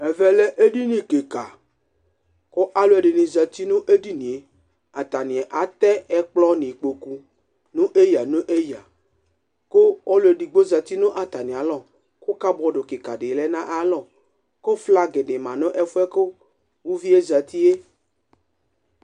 Ɛmɛ lɛ eɖini ƙɩka ;ƙʋ alʋ ɛɖɩnɩ zati nʋ eɖini ƴɛAta nɩ atɛ ɛƙplɔ nʋ iƙpoƙu nʋ eƴǝ nʋ eƴǝ ƙʋ ɔlʋ eɖigbo zati nʋ atamɩalɔ, ƙabɔɖ ƙɩƙa ɖɩ lɛ nʋ aƴʋ alɔ, ƙʋ flag ƙɩƙa ɖɩ ma nʋ ɛfʋ ƴɛ bʋa kʋ uvi ƴɛ zati ƴɛ